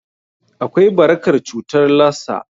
Akwai barakar cutar Lassa.